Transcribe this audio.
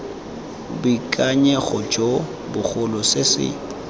boikanyego jo bogolo se se